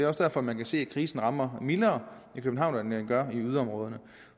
også derfor man kan se at krisen rammer mildere i københavn end den gør i yderområderne